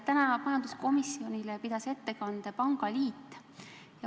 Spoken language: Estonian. Täna pidas majanduskomisjonile ettekande Eesti Pangaliit.